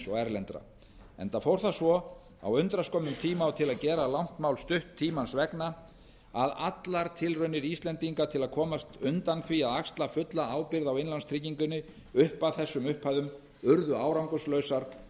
og erlendra enda fór það svo á undraskömmum tíma og til að gera langt mál stutt tímans vegna að allar tilraunir íslendinga til að komast undan því að axla fulla ábyrgð á innlánstryggingunni upp að þessum upphæðum urðu árangurslausar